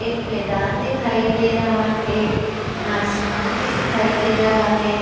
एक मैदान दिखाई दे रहा है। आसमान भी दिखाई दे रहा है।